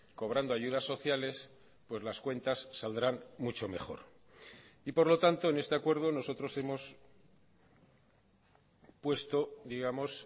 cobrando ayudas sociales pues las cuentas saldrán mucho mejor y por lo tanto en este acuerdo nosotros hemos puesto digamos